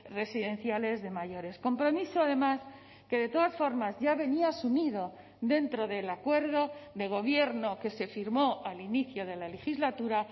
residenciales de mayores compromiso además que de todas formas ya venía asumido dentro del acuerdo de gobierno que se firmó al inicio de la legislatura